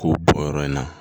K'u bɔ yɔrɔ in na